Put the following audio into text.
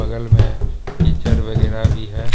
बगल में कीचड़ वगेरा भी है।